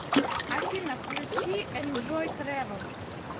афина включи энжой трэвэл